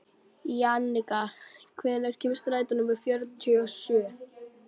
Jannika, hvenær kemur strætó númer fjörutíu og sjö?